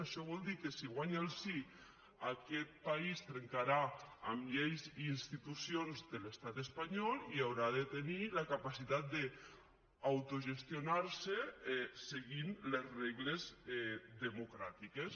això vol dir que si guanya el sí aquest país trencarà amb lleis i institucions de l’estat espanyol i haurà de tenir la capacitat d’autogestionar se seguint les regles democràtiques